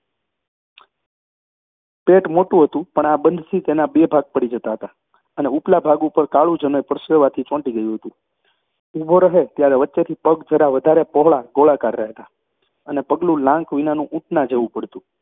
પેટ મોટું હતું પણ આ બંધથી તેના બે ભાગ પડી જતા હતા, અને ઉપલા ભાગ ઉપર કાળું જનોઈ પરસેવાથી ચોંટી ગયું હતું, ઊભો રહે ત્યારે વચ્ચેથી પગ જરા વધારે પહોળા, ગોળાકાર રહેતા. અને પગલું લાંક વિનાનું ઊંટના જેવું પડતું